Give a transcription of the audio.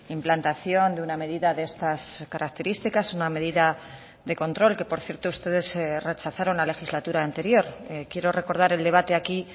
implantación de una medida de estas características una medida de control que por cierto ustedes rechazaron la legislatura anterior quiero recordar el debate aquí